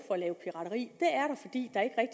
for at lave pirateri